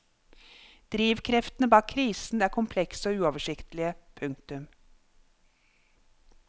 Drivkreftene bak krisen er komplekse og uoversiktlige. punktum